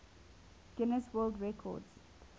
guinness world record